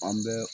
An bɛ